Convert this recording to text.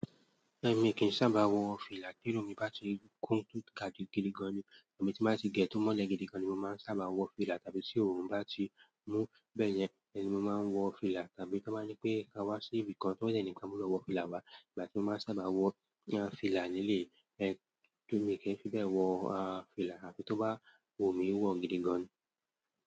Èmi kì í sábà wọ fìlà, tí irun mi bá ti kún jù àbí gidi gan ni, tí mo bá ti gẹ̀ẹ́ tó mọ́lẹ̀ gidi gan ni mo máa ń sábà wọ fìlà, tàbí tí òòrùn bá ti mú bẹ́ẹ̀ yẹn, ìyẹn ni mo máa ń wọ fìlà, tàbí tí wọ́n bá nípé, "ka wá sí ibì kan", tí wọ́n dẹ̀ ní pé a gbọ́dọ̀ wọ fìlà wá, ìgbà tí mo máa ń sábà wọ fìlà ní eléyìí, ẹn mi kì í fi bẹ́ẹ̀ wọ fìlà, àfi tó bá wù mí wọ̀ gidi gan.